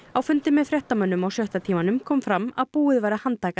á fundi með fréttamönnum á sjötta tímanum kom fram að búið væri að handtaka